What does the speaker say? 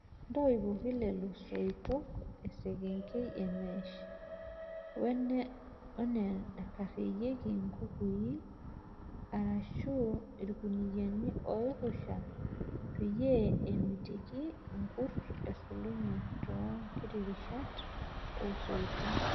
Ntoipoki lelo soitok esekengei emesh wenaikararieki nkukui arashu irkuniani oiruusha peyie emitiki irkurt esulunye too nkirishat oo soitok.